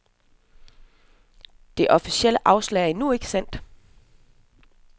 Det officielle afslag er endnu ikke af sendt.